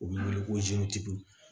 U bɛ wele ko